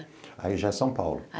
Aí já é São Paulo.